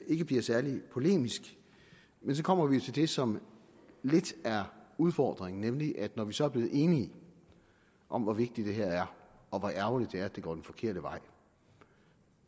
ikke bliver særlig polemisk men så kommer vi til det som lidt er udfordringen nemlig at når vi så er blevet enige om hvor vigtigt det her er og hvor ærgerligt det er at det går den forkerte vej